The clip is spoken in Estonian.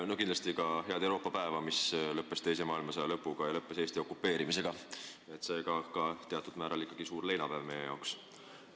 Soovin kindlasti ka teile head Euroopa päeva, mis tähistab teise maailmasõja lõppu ja Eesti okupeerimist, ning on seega teatud määral suur leinapäev meie jaoks.